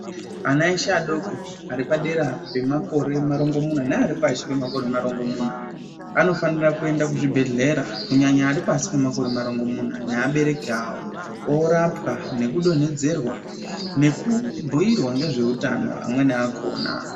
Ana eshe adoko ari padera pemakore marongimunya neari pashi pemakore marongimunya anofanira kuend kuzvibhedhlera kunyanya ari pasi pemakore marongomunya neabereki avo oorapwa nekudonhedzerwa nekubhuyirwa nezveutano amweni akona.